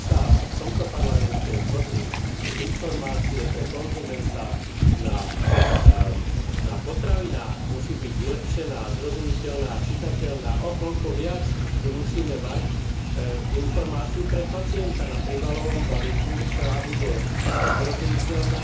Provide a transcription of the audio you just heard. Ak sme sa v tomto Parlamente zhodli, že informácia pre konzumenta na potravinách musí byť vylepšená, zrozumiteľná a čitateľná, o koľko viac my musíme mať informáciu pre pacienta na príbalovom letáku, ktorá bude zrozumiteľná,